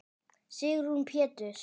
Sigrún Péturs.